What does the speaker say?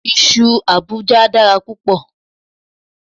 Iṣu Àbújá dára púpọ̀